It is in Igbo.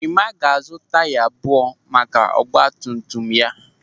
Ịmaa ga-azụ taya abụọ maka ọgbatumtum ya.